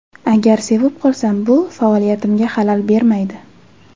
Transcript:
Agar sevib qolsam, bu faoliyatimga xalal bermaydi.